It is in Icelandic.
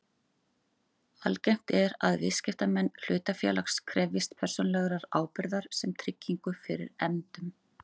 Algengt er að viðskiptamenn hlutafélags krefjist persónulegrar ábyrgðar sem tryggingu fyrir efndum.